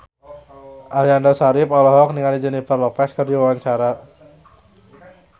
Aliando Syarif olohok ningali Jennifer Lopez keur diwawancara